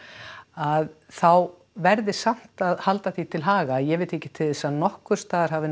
að þá verði samt að halda því til haga að ég veit ekki til þess að nokkurs staðar hafi